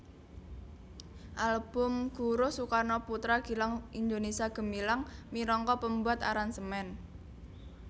Album Guruh Soekarno Putra Gilang Indonesia Gemilang minangka pembuat aransemen